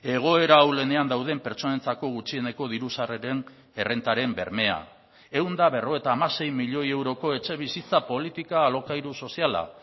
egoera ahulenean dauden pertsonentzako gutxieneko diru sarreren errentaren bermea ehun eta berrogeita hamasei milioi euroko etxebizitza politika alokairu soziala